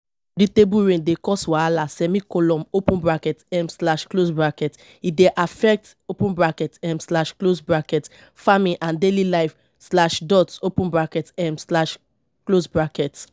dictable rain dey cause wahala semicolon open bracket um slash close bracket e dey affect open bracket um slash close bracket farming and daily life slash dot open bracket um slash close bracket